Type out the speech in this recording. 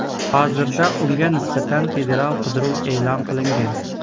Hozirda unga nisbatan federal qidiruv e’lon qilingan.